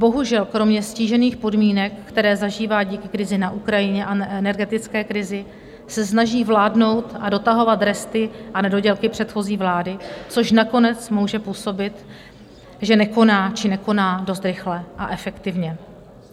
Bohužel, kromě ztížených podmínek, které zažívá díky krizi na Ukrajině a energetické krizi, se snaží vládnout a dotahovat resty a nedodělky předchozí vlády, což nakonec může působit, že nekoná, či nekoná dost rychle a efektivně.